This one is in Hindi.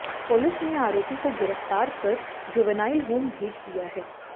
पुलिस ने आरोपी को गिरफतार कर जुवेनाईल होम भेज दिया है